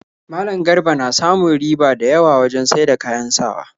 Malam Garba na samun riba da yawa wajen saida kayan sawa